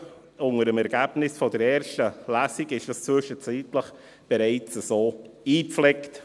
diese wurden unter dem Ergebnis der ersten Lesung zwischenzeitlich bereits so eingepflegt.